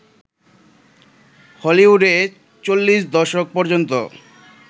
হলিউডে চল্লিশ দশক পর্যন্ত